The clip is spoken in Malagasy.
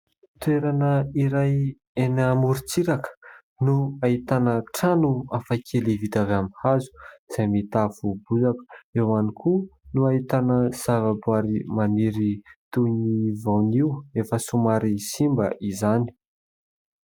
Toerana iray amorontsiraka no ahitana trano afaka vita avy amin'ny hazo izay mitafo bozaka eo ihany koa no ahitana zavaboary maniry toy ny voanio efa somary simba izany.